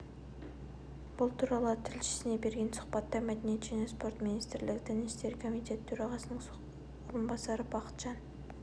бұл туралы тілшісіне берген сұхбатта мәдениет және спорт министрлігі дін істері комитеті төрағасының орынбасары бақытжан